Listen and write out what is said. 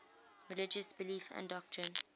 religious belief and doctrine